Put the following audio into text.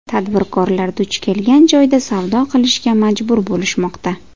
Tadbirkorlar duch kelgan joyda savdo qilishga majbur bo‘lishmoqda.